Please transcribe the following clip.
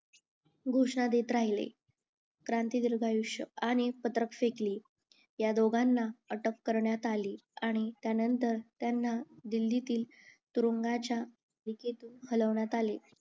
घोषणा देत राहिले क्रांती दीर्घ आयुष आणि फेकली ह्या दोघांना अटक करण्यात आली आणि त्यानंतर त्यांना दिल्लीतील तुरुंगाच्या हलवण्यात आले